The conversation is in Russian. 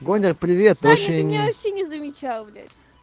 сегодня привет прощение не замечал блять